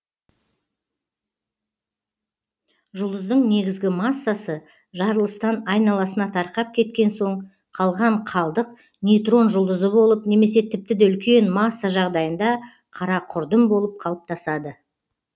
жұлдыздың негізгі массасы жарылыстан айналасына тарқап кеткен соң қалған қалдық нейтрон жұлдызы болып немесе тіпті де үлкен масса жағдайында қара құрдым болып қалыптасады